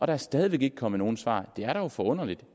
er stadig væk ikke kommet nogen svar det er da forunderligt